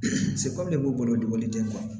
se kɔmi ne b'u bolo dogo den ma